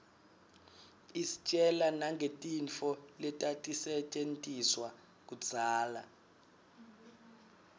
istjela nangetintfo letatisetjentiswa kudzala